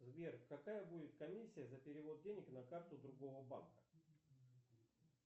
сбер какая будет комиссия за перевод денег на карту другого банка